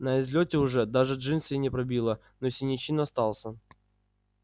на излёте уже даже джинсы не пробило но синячина остался